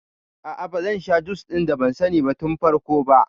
A'a bazan sha jus ɗin da ban sani tun farko ba